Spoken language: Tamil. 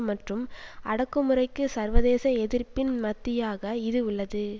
மற்றும் அடக்குமுறைக்கும் சர்வதேச எதிர்ப்பின் மத்தியாக இது உள்ளது